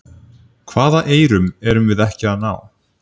Hvaða eyrum erum við ekki að ná?